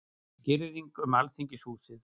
Girðing um Alþingishúsið